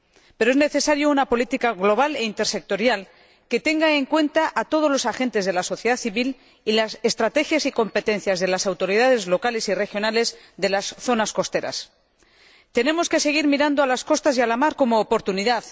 Pero es necesaria una política global e intersectorial que tenga en cuenta a todos los agentes de la sociedad civil y las estrategias y competencias de las autoridades locales y regionales de las zonas costeras. Tenemos que seguir mirando a las costas y a la mar como oportunidad.